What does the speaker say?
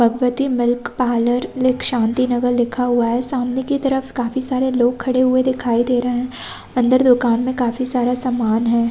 Bhagwati milk parlour लिख शांति नगर लिखा हुआ है सामने की तरफ काफी सारे लोग खड़े हुए दिखाई दे रहे है अंदर दुकान में काफी सारा सामान हैं ।